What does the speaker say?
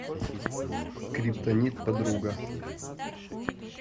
скриптонит подруга